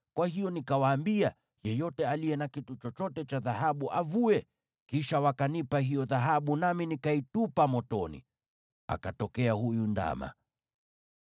Kwa hiyo nikawaambia, ‘Yeyote aliye na kito chochote cha dhahabu avue.’ Kisha wakanipa hiyo dhahabu, nami nikaitupa motoni, akatokea huyu ndama!”